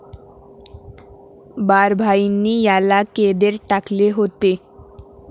बारभाईंनी याला कैदेत टाकले होते.